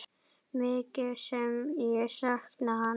Mikið sem ég sakna hans.